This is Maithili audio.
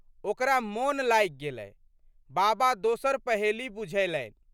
ओकरा मोन लागि गेलै। बाबा दोसर पहेली बुझयलनि।